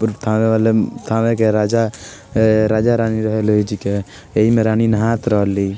पुलथाने वालम थाने के राजा अ राजा रानी लोजीके एहि मे रानी नहात रहली।